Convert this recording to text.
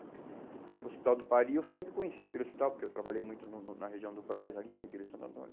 O Hospital do Pari, eu sempre conhecia aquele hospital, porque eu trabalhei muito no no na região do Brás, ali, da Igreja Santo Antônio.